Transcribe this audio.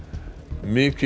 mikil